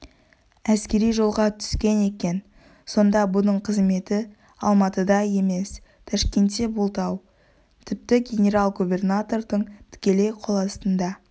әскери жолға түскен екен сонда бұның қызметі алматыда емес ташкентте болды-ау тіпті генерал-губернатордың тікелей қол астында